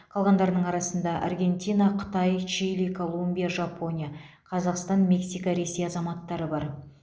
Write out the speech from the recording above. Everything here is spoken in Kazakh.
қалғандарының арасында аргентина қытай чили колумбия жапония қазақстан мексика ресей азаматтары бар